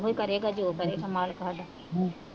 ਉਹੀ ਕਰੇਗਾ ਜੋ ਕਰੇਗਾ ਮਾਲਕ ਸਾਡਾ